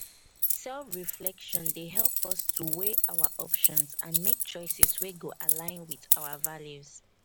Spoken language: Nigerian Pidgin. self reflection dey help us to weigh our options and mek choices wey go align wit our values